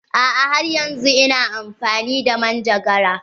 A'a har yanzun ina amfani da manjagara.